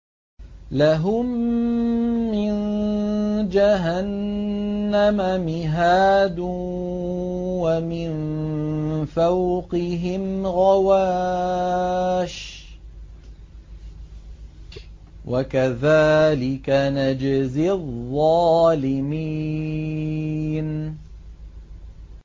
لَهُم مِّن جَهَنَّمَ مِهَادٌ وَمِن فَوْقِهِمْ غَوَاشٍ ۚ وَكَذَٰلِكَ نَجْزِي الظَّالِمِينَ